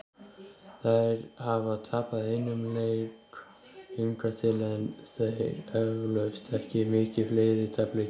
Þær hafa tapað einum leik hingað til, en þeir eflaust ekki mikið fleiri- tapleikirnir.